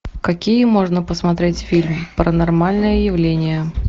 какие можно посмотреть фильмы паранормальное явление